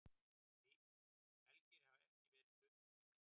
Elgir hafa ekki verið fluttir til Íslands.